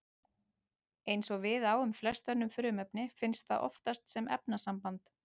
Eins og við á um flest önnur frumefni finnst það oftast sem efnasamband.